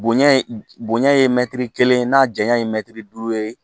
Bonɲa bonɲɛ ye mɛtiri kelen ye n'a janya ye mɛtiri duuru ye